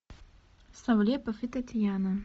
савлепов и татьяна